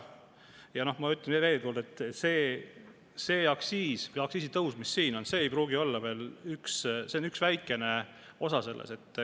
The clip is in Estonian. Ja ma ütlen veel kord: see aktsiisitõus, mis siin on, on ainult üks väikene osa sellest.